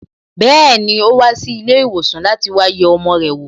Bẹẹni, o wa si ilé ìwòsàn láti wá yẹ ọmọ rẹ̀ wo